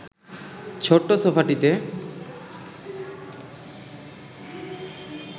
ছোট্ট সোফাটিতে